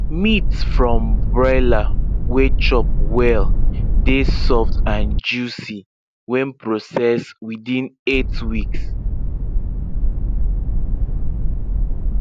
meat from broiler wey chop well dey soft and juicy when processed within eight weeks